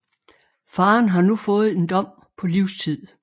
Faren har nu fået en dom på livstid